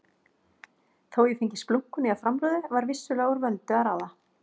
Þó ég fengi splunkunýja framrúðu var vissulega úr vöndu að ráða.